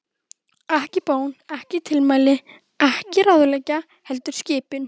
Ekki bón, ekki tilmæli, ekki ráðlegging, heldur skipun.